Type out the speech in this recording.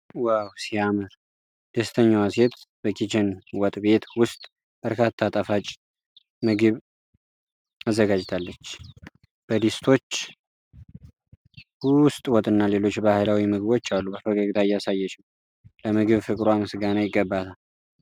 ዋው ሲያምር! ደስተኛዋ ሴት በኪችን ወጥ ቤት ውስጥ በርካታ ጣፋጭ ምግብ አዘጋጅታለች። በድስቶች ውስጥ ወጥና ሌሎች ባህላዊ ምግቦች አሉ። በፈገግታ እያሳየች ነው። ለምግብ ፍቅሯ ምስጋና ይገባታል!!።